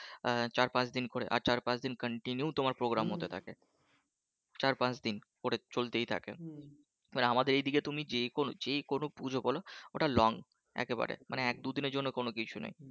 আহ চার পাঁচ দিন করে আর চার পাঁচ দিন continue তোমার প্রোগ্রাম হতে থাকে চার পাঁচ দিন করে চলতেই থাকে আমাদের এদিকে তুমি যে কোন যে কোন পূজো বলো ওটা long একেবারে এক দুদিনের জন্য কোন কিছু নেই